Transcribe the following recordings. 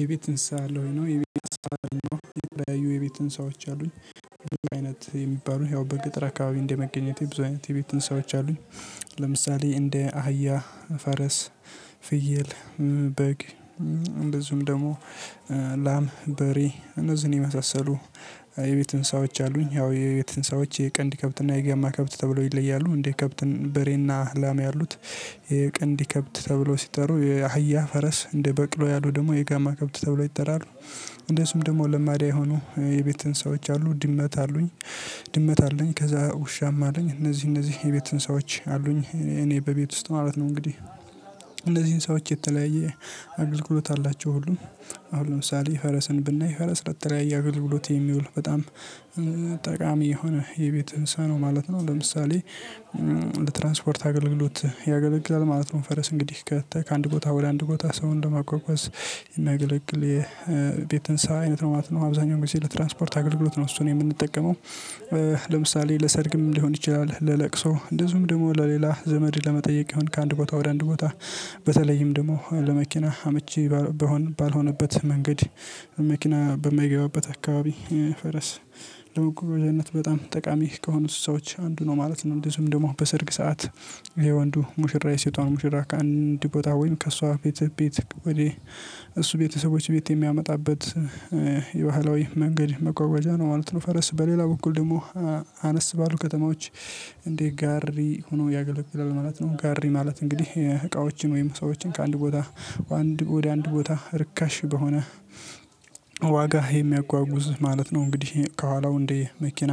የቤት እንስሳ አለህ? ወሄ ነው የቤት እንስሳ አለኝ። የቤት እንስሳ አሉኝ የተለያዩ የቤት እንስሳዎች አሉኝ። ብዙ አይነት የሚባሉ ያው በገጠር አካባቢ እንደ መገኘቴ ብዙ አይነት የቤት እንስሳዎች አሉኝ። ለምሳሌ እንደ አህያ ፈረስ ፍየል በግ እንደዚሁም ደግሞ ላም በሬ እነዚህን የመሳሰሉ የቤት እንስሳዎችዎች አሉኝ። ያው የቤት እንስሳዎችዎች የቀንድ ከብት እና የጋማ ከብት ተብሎ ይለያሉ። እንዴ ከብትን በሬና ላም ያሉት የቀንድ ከብት ተብሎ ሲጠሩ የአህያ ፈረስ እንደ በቅሎ ያሉ ደግሞ የጋማ ከብት ተብሎ ይጠራሉ። እንደሱም ደግሞ ለማዳ የሆኑ የቤት እንስሳዎች አሉ ድመት አሉኝ። ድመት አለኝ ከዛ ውሻም አለኝ እነዚህ እነዚህ የቤት እንስሳዎች አሉኝ። እኔ በቤት ውስጥ ማለት ነው። እንግዲህ እነዚህን እንስሳዎች የተለያየ አገልግሎት አላቸው። ሁሉም አሁን ለምሳሌ ፈረስን ብናይ ፈረስ ለተለያየ እያገልግሎት የሚውል በጣም ጠቃሚ የሆነ የቤት እንስሳ ነው ማለት ነው። ለምሳሌ ለትራንስፖርት አገልግሎት ያገለግላል ማለት ነው። ፈረስ እንግዲህ ከተ ከአንድ ቦታ ወደ አንድ ቦታ ሰውን ለሟጏጏዝ የሚያገለግል የቤት እንስሳ አይነት ነው ማለት ነው። አብዛኛው ጊዜ ለትራንስፖርት አገልግሎት ነው እሱን የምንጠቀመው። ለምሳሌ ለሰርግም ሊሆን ይችላል ለለቅሶ እንደዚሁም ደግሞ ለሌላ ዘመድ ለመጠየቅ ይሁን ከአንድ ቦታ ወደ አንድ ቦታ። በተለይም ደግሞ ለመኪና አመቺ ባልሆነበት መንገድ መኪና በማይገባበት አካባቢ ፈረስ ለመቆም ደንነት በጣም ጠቃሚ ከሆኑት እንስሳዎች አንዱ ነው ማለት ነው። እንደዚሁም ደግሞ በሰርግ ሰዓት የወንዱ ሙሽራ የሴቷን ሙሽራ ከአንድ ቦታ ወይም ከእሷ ቤት ቤት ወዲህ እሱ ቤተሰቦች ቤት የሚያመጣበት የባህላዊ መንገድ መጏጏዣ ነው ማለት ነው። ፈረስ በሌላ በኩል ደግሞ አነስ ባሉ ከተማዎች እንደ ጋሪ ሆኖ ያገለግልል ማለት ነው። ጋሪ ማለት እንግዲህ እቃዎችን ወይም ሰዎችን ከአንድ ቦታ ወደ አንድ ቦታ ርካሽ በሆነ የሚያጓጉዝ ማለት ነው። እንግዲህ ከኋላው እንዴ መኪና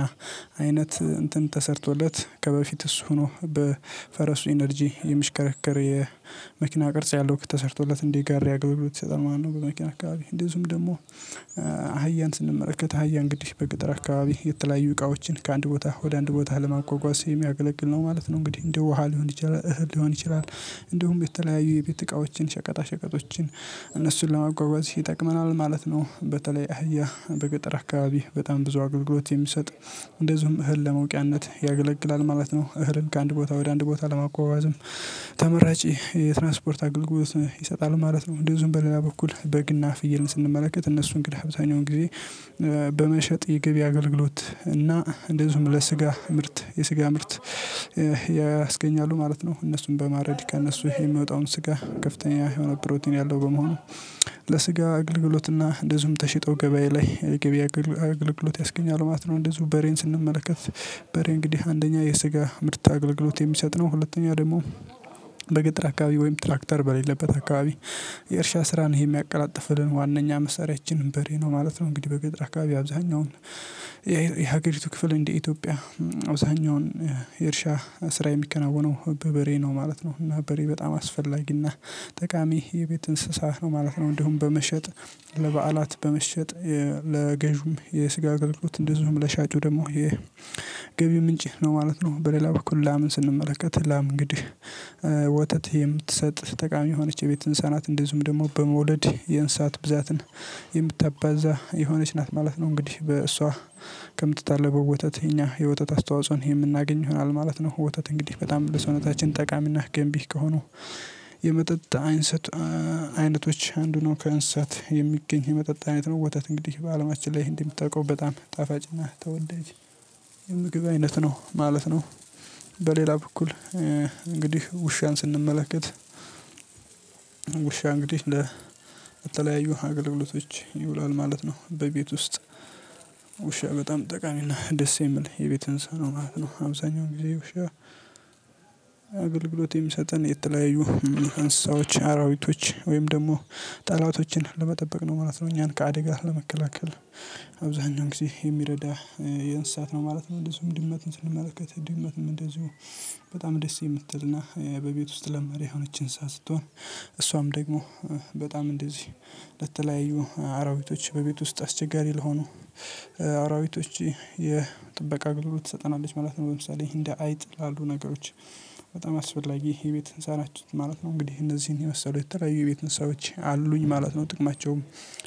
አይነት እንትን ተሰርቶለት ከበፊት እሱ ሆኖ በፈረሱ ኢነርጂ የሚሽከረከር የመኪና ቅርጽ ያለው ተሰርቶለት እንደ ጋሪ አገልግሎት ይሰጣል ማለት ነው። በመኪና አካባቢ እንደዚሁም ደግሞ አህያን ስንመለከት አህያ እንግዲ በገጠር አካባቢ የተለያዩ እቃዎችን ከአንድ ቦታ ወደ አንድ ቦታ ለማጓጓዝ የሚያገለግል ነው ማለት ነው። እንግዲህ እንደ ውሃ ሊሆን ይችላል ይችላል እንደውም በተለያዩ የቤት እቃዎችን ሸቀጣ ሸቀጦችን እነሱን ለማጓጓዝ ይጠቅመናል ማለት ነው። በተለይ አህያ በገጠር አካባቢ በጣም ብዙ አገልግሎት የሚሰጥ እንደዚሁም እህል ለመውቂያነት ያገለግላል ማለት ነው። እህልን ከአንድ ቦታ ወደ አንድ ቦታ ለማጓጓዝም ተመራጭ የትራንስፖርት አገልግሎት ይሰጣል ማለት ነው። እንደዚህም በሌላ በኩል በግና ፍየልን ስንመለከት እነሱን እንግዲህ አብዛኛውን ጊዜ በመሸጥ የግቢ አገልግሎት እና እንደዚሁም ለስጋ ምርት የስጋ ምርት ያስገኛሉ ማለት ነው። እነሱን በማረድ ከእነሱ የሚወጣውን ስጋ ከፍተኛ የሆነ ፕሮቲን ያለው በመሆኑ ለስጋ አገልግሎትና እንደዚሁም ተሽጠው ገበያ ላይ የገበያ አገልግሎት ያስገኛሉ ማለት ነው። እንደዚሁ በሬን ስንመለከት በሬ እንግዲህ አንደኛ የስጋ ምርት አገልግሎት የሚሰጥ ነው። ሁለተኛ ደግሞ በገጠር አካባቢ ወይም ትራክተር በሌለበት አካባቢ የእርሻ ስራን የሚያቀላጥፍልን ዋናኛ መሳሪያችን በሬ ነው ማለት ነው። እንግዲህ በገጥር አካባቢ አብዛኛውን ክፍል እንደ ኢትዮጵያ አብዛኛውን የእርሻ ስራ የሚከናወነው በበሬ ነው ማለት ነው። እና በሬ በጣም አስፈላጊና ጠቃሚ የቤት እንስሳህ ነው ማለት ነው። እንዲሁም በመሸጥ ለበዓላት በመሸጥ ለገዥውም የስጋ አገልግሎት እንደዚሁም ለሻጩ ደግሞ የገቢው ምንጭ ነው ማለት ነው። በሌላ በኩል ላምን ስንመለከት ላም እንግዲህ ወተት የምትሰጥ ጠቃሚ የሆነች የቤት እንስሳ ናት። እንደዚሁም ደግሞ በመውለድ የእንስሳት ብዛትን የምታባዛ የሆነች ናት ማለት ነው። እንግዲህ በእሷ ከምትታለበው ወተት እኛ የወተት አስተዋጽኦን የምናገኝ ይሆናል ማለት ነው። ወተት እንግዲህ በጣም ለሰውነታችን ጠቃሚና ገንቢ ከሆኑ የመጠጥ አይንሰጥ አይነቶች አንዱ ነው ከእንስሳት የሚገኝ የመጠጥ አይነት ነው። ወተት እንግዲህ በአለማችን ላይ እንደምታውቀው በጣም ጣፋጭና ተወዳጅ የምግብ አይነት ነው ማለት ነው። በሌላ በኩል እንግዲህ ውሻን ስንመለከት ውሻ እንግዲህ ለተለያዩ አገልግሎቶች ይውላል ማለት ነው። በቤት ውስጥ ውሻ በጣም ጠቃሚና ደስ የምል የቤት እንስሳ ነው ማለት ነው። አብዛኛውን ጊዜ ውሻ አገልግሎት የሚሰጠን የተለያየ አንስሳዎች አራዊቶች ወይም ደግሞ ጠላቶችን ለመጠበቅ ነው ማለት ነው። እኛን ከአደጋ ለመከላከል አብዛኛው ጊዜ የሚረዳ የእንስሳት ነው ማለት ነው። እንደዚሁም ድመት ስንመለከት ድመትም እንደዚሁ በጣም ደስ የምትልና በቤት ውስጥ ለማዳ የሆነች እንስሳ ስትሆን እሷም ደግሞ በጣም እንደዚህ ለተለያዩ አራዊቶች በቤት ውስጥ አስቸጋሪ ለሆኑ አራዊቶች የጥበቃ አግልግሎት ትሰጠናለች ማለት ነው። ለምሳሌ እንደ አይጥ ላሉ ነገሮች በጣም አስፈላጊ የቤት እንስሳ ነች ማለት ነው። እንግዲህ እነዚህን የመሰሉ የተለያዩ ቤት እንሳዎች አሉኝ ማለት ነው። ጥቅማቸውም